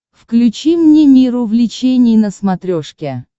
включи мне мир увлечений на смотрешке